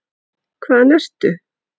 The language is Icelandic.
Hvaðan ertu?